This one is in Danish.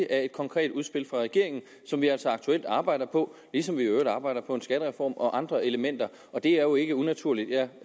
af et konkret udspil fra regeringen som vi altså aktuelt arbejder på ligesom vi i øvrigt arbejder på en skattereform og andre elementer det er jo ikke unaturligt jeg